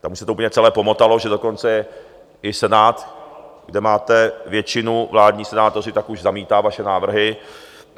Tam už se to úplně celé pomotalo, že dokonce i Senát, kde máte většinu vládních senátorů, tak už zamítá vaše návrhy.